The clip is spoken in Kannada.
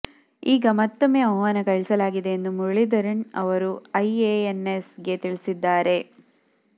ಈಗ ಮತ್ತೊಮ್ಮೆ ಆಹ್ವಾನ ಕಳಿಸಲಾಗಿದೆ ಎಂದು ಮುರಳೀಧರನ್ ಅವರು ಐಎಎನ್ಎಸ್ ಗೆ ತಿಳಿಸಿದ್ದಾರೆ